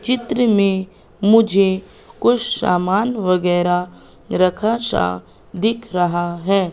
चित्र में मुझे कुछ सामान वगैरा रखा सा दिख रहा है।